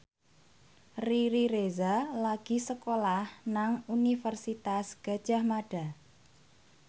Riri Reza lagi sekolah nang Universitas Gadjah Mada